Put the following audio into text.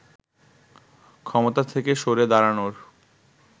ক্ষমতা থেকে সরে দাঁড়ানোর